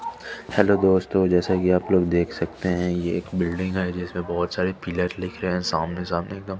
Hello दोस्तों जैसा कि आप लोग देख सकते हैं ये एक बिल्डिंग है जिसमें बहुत सारे पिलर दिख रहे हैं सामने सामने एकदम।